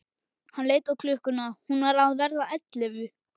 Hann leit á klukkuna, hún var að verða ellefu.